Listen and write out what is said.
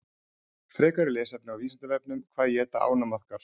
Frekara lesefni á Vísindavefnum: Hvað éta ánamaðkar?